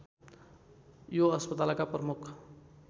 यो अस्पतालका प्रमुख